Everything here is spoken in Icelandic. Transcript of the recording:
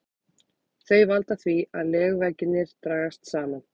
Þau valda því að legveggirnir dragast saman.